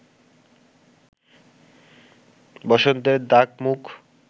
বসন্তের দাগ-মুখ